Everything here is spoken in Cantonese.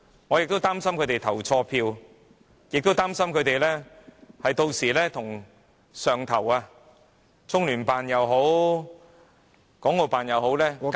我亦擔心他們會投錯票，這樣他們便無法向中聯辦或港澳辦交差......